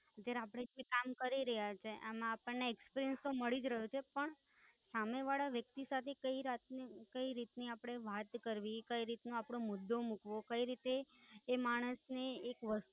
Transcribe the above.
જે આપડે એક વરસ થી કામ કરી રહ્યા છીએ એમાં આપણ ને experience તો મળી જ રહ્યો છે પણ સામે વાળા વ્યક્તિ સાથે કઈ રીત ની આપડે વાત કરવી, કઈ રીત નો આપડો મુદ્દો મુકવો. કઈ રીતે એ માણસ ને વસ્ત